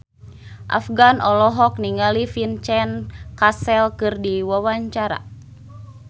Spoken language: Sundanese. Afgan olohok ningali Vincent Cassel keur diwawancara